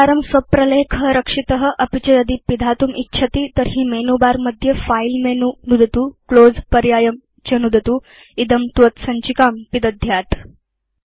एकवारं स्व प्रलेख रक्षित अपि च यदि पिधातुम् इच्छति तर्हि मेनुबारमध्ये फिलेमेनु नुदतु क्लोज़ पर्यायं च नुदतु इदं त्वत् सञ्चिकाम् पिदध्यात्